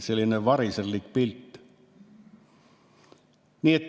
Selline variserlik pilt.